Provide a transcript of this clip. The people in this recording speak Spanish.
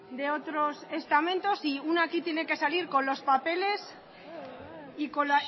de otros estamentos y una aquí tiene que salir con los papeles y con